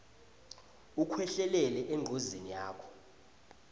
ukhwehlelele engcozeni yakho